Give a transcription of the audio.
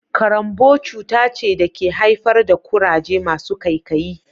Karanbou cuta ce da ke haifar da kuraje masu kaikayi